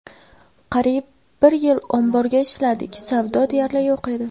Qariyb bir yil omborga ishladik, savdo deyarli yo‘q edi.